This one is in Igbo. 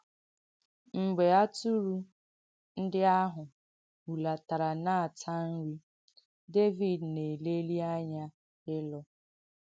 Mgbe àtùrù ndị àhụ̀ hùlàtàrà na-àtà nrī, Dèvìd na-èlèlī ànyà élụ.